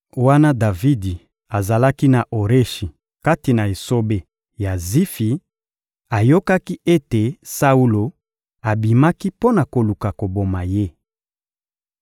Wana Davidi azalaki na Oreshi kati na esobe ya Zifi, ayokaki ete Saulo abimaki mpo na koluka koboma ye.